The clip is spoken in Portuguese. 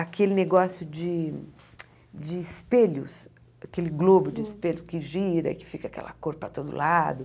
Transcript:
Aquele negócio de de espelhos, aquele globo de espelhos que gira, que fica aquela cor para todo lado.